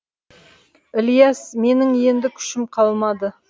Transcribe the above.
ілияс менің енді күшім қалмады